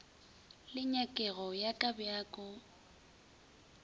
le nyakego ya ka bjako